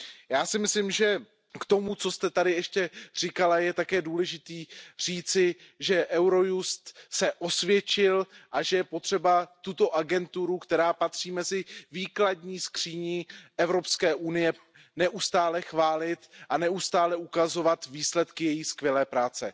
Já si myslím, že k tomu, co jste tady ještě říkala, je také důležité říci, že Eurojust se osvědčil a že je potřeba tuto agenturu, která patří mezi výkladní skříně Evropské unie, neustále chválit a neustále ukazovat výsledky její skvělé práce.